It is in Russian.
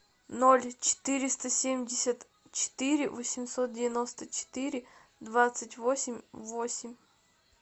ноль четыреста семьдесят четыре восемьсот девяносто четыре двадцать восемь восемь